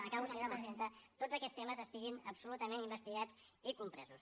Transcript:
acabo senyora presidenta tots aquests temes estiguin absolutament investigats i compresos